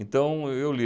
Então, o, eu lia.